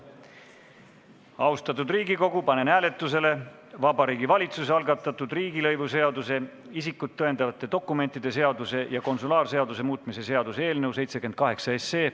Austatud Riigikogu, panen hääletusele Vabariigi Valitsuse algatatud riigilõivuseaduse, isikut tõendavate dokumentide seaduse ja konsulaarseaduse muutmise seaduse eelnõu 78.